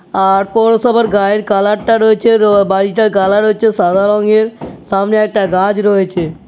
আর পৌরসভার গায়ের কালার টা রয়েছে। তো বাড়িটার কালার হচ্ছে সাদা রঙের। সামনে একটা গাছ রয়েছে।